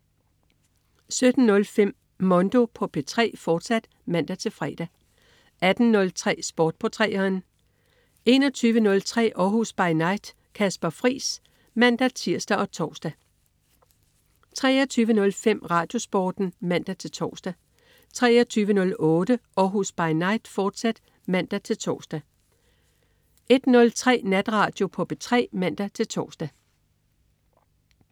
17.05 Mondo på P3, fortsat (man-fre) 18.03 Sport på 3'eren 21.03 Århus By Night. Kasper Friis (man-tirs og tors) 23.05 RadioSporten (man-tors) 23.08 Århus By Night, fortsat (man-tors) 01.03 Natradio på P3 (man-tors)